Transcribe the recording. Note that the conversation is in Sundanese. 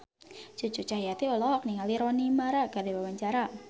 Cucu Cahyati olohok ningali Rooney Mara keur diwawancara